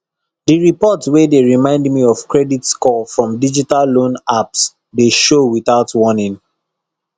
the report wey dey remind me of credit score from digital loan apps dey show without warning